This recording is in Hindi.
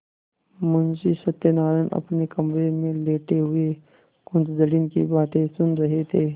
मुंशी सत्यनारायण अपने कमरे में लेटे हुए कुंजड़िन की बातें सुन रहे थे